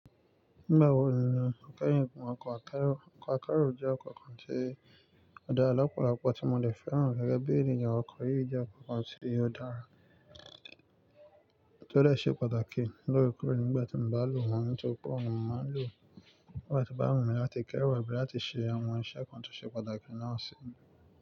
Nígbà wo ni ó keyin gun okọ́ akẹ́rù? Okọ́ akerù jẹ́ okọ́ kan tí ó dára lọ́pọ̀lọpọ̀ tí mo dè fẹ́ràn gẹ́gẹ́ bí ènìyàn. Òkọ́ yi jẹ́ okọ́ kan tí ó dára, tí ó dè ṣe pàtàkì. Lóòrèkóòrè nígbàtí mo bá lò wọ́n, nítorípé òun ni mo máa ń lò. Nígbàtí o bá wù mí láti kẹ́rù àbí láti ṣe àwọn iṣẹ́ kan tó ṣe pàtàkì náà sì.